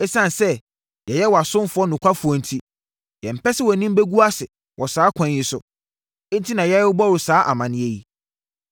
Esiane sɛ yɛyɛ wʼasomfoɔ nokwafoɔ enti, yɛmpɛ sɛ wʼanim bɛgu ase wɔ saa kwan yi so, enti na yɛrebɔ wo saa amaneɛ yi.